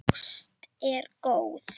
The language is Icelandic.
Ásta er góð.